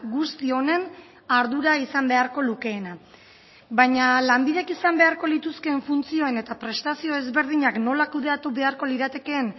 guzti honen ardura izan beharko lukeena baina lanbidek izan beharko lituzkeen funtzioen eta prestazio ezberdinak nola kudeatu beharko liratekeen